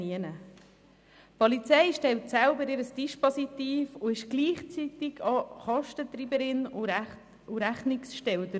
Die Polizei stellt selber ihr Dispositiv und ist gleichzeitig Kostentreiberin und Rechnungsstellerin.